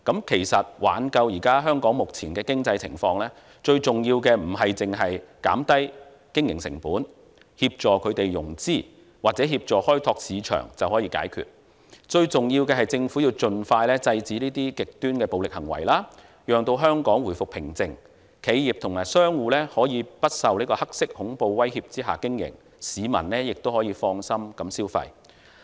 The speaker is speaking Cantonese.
其實，挽救香港目前的經濟情況，最重要的不單是減低經營成本、協助融資或協助開拓市場便可以解決，最重要的是政府盡快制止極端暴力行為，讓香港回復平靜，企業及商戶可以不受"黑色恐怖"威脅下經營，市民亦可以放心消費。